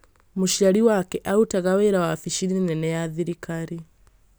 mũciari wake arutaga wĩra wabici-inĩ nene ya thirikari-inĩ